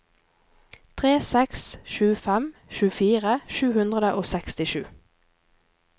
tre seks sju fem tjuefire sju hundre og sekstisju